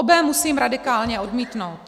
Obé musím radikálně odmítnout.